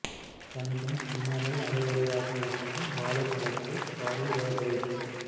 கனிந்தும் கனியாமல் அரை குறையாக இருக்கும் வாழைப் பழத்தை பாலில் வேக வைத்து